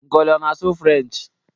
Nkoli ọ na-asụ Firench?